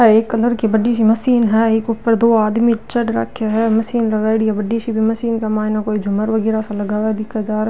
यहाँ पे एक कलर की बड़ी सी मशीन है ऊपर दो आदमी चढ राखा है मशीन लगाई डी है बड़ी सी मशीन के मायने झूमर वगेरा सा लगावे दिखे जार --